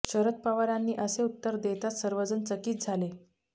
शरद पवारांनी असे उत्तर देताच सर्वजण चकीत झाले